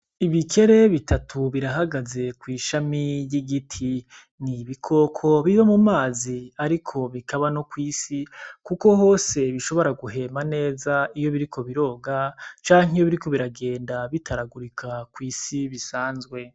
Ibikere bitatu birahagaze kw'ishami ry'igiti. Ni ibikoko biba mu mazi ariko bikaba no kw'isi, kuko hose bishobora guhema neza iyo biriko biroga canke iyo biriko biragenda bitaragurika kw'isi bisanzwe.